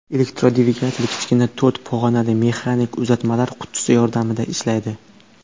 Elektrodvigatel kichkina to‘rt pog‘onali mexanik uzatmalar qutisi yordamida ishlaydi.